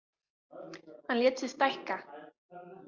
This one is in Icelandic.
Hann lét sig stækka.